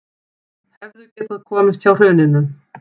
Hefðu getað komist hjá hruninu